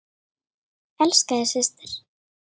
Elska þig, systir.